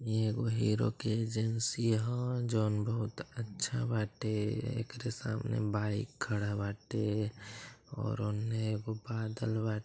इ एगो हीरो के एजेंसी ह जओन बहुत अच्छा बाटे एकरे सामने बाइक खड़ा बाटे और ओने एगो बादल बा।